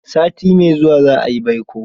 Sati mai zuwa za a yi baiko.